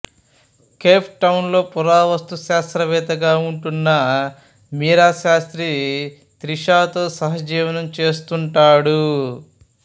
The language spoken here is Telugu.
కేప్ టౌన్ లో పురావస్తు శాస్త్రవేత్తగా ఉంటున్న మీరా శాస్త్రి త్రిషతో సహజీవనం చేస్తుంటాడు